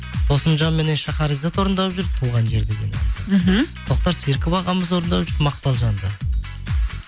досымжанменнен шахаризад орындап жүр туған жер деген әнді мхм тоқтар серіков ағамыз орындап жүр мақпалжанды